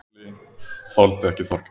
Lúlli þoldi ekki Þorgeir.